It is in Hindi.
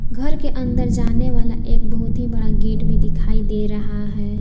घर के अंदर जाने वाला एक बहुत ही बड़ा गेट भी दिखाई दे रहा है।